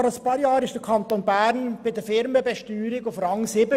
Vor ein paar Jahren befand sich der Kanton Bern bei der Firmenbesteuerung auf Rang 7.